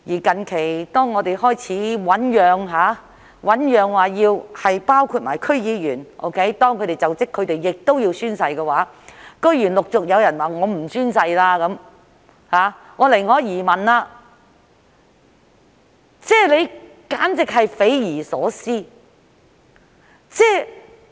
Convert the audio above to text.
近期，當政府開始醞釀把宣誓的規定涵蓋區議員，規定他們須進行就職宣誓時，居然陸續有區議員表示不會宣誓，寧可移民，這簡直是匪夷所思。